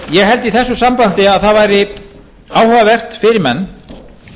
ég held í þessu sambandi að það væri áhugavert fyrir menn